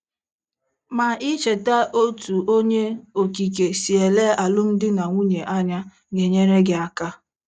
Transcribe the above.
Ma ịcheta otú Onye Okike si ele alụmdi na nwunye anya ga - enyere gị aka.